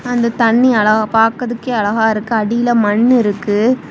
அந்த தண்ணி அளவ பாக்குறதுக்கே அழகா இருக்கு அடியில மண்ணு இருக்கு.